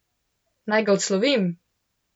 Naj ga odslovim?